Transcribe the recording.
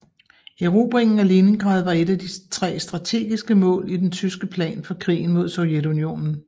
Erobringen af Leningrad var et af de tre strategiske mål i den tyske plan for krigen mod Sovjetunionen